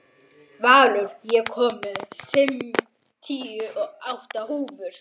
Valur, ég kom með fimmtíu og átta húfur!